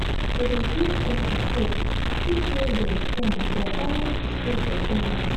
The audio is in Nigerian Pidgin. to dey give person hope fit make dem strong for all di stages of pregnancy.